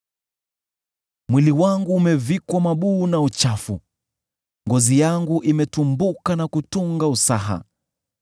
Mwili wangu umevikwa mabuu na uchafu, ngozi yangu imetumbuka na kutunga usaha.